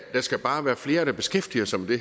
der skal bare være flere der beskæftiger sig med